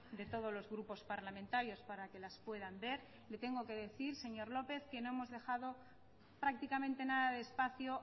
de todos los grupos parlamentarios para que las puedan ver le tengo que decir señor lópez que no hemos dejado prácticamente nada de espacio